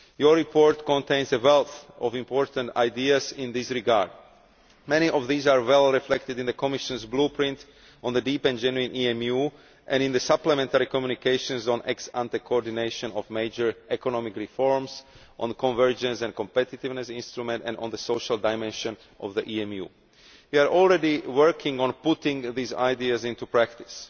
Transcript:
Your report contains a wealth of important ideas in this regard. Many of these are well reflected in the Commission's Blueprint on a Deep and Genuine EMU, and in the supplementary communications on ex ante coordination of major economic reforms, on a Convergence and Competitiveness Instrument and on the social dimension of the EMU. We are already working on putting these ideas into practice.